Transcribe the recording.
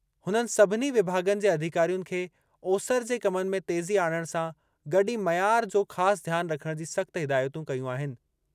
हुननि सभिनी विभाग॒नि जे अधिकारियुनि खे ओसरि जे कमनि में तेज़ी आणणु सां गॾु ई मयार जो ख़ासि ध्यान रखणु जी सख़्त हिदायतूं कयूं आहिनि।